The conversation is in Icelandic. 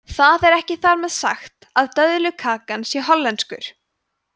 það er ekki þar með sagt að döðlukakan sé hollenskur